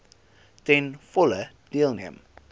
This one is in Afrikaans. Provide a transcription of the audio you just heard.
ten volle deelneem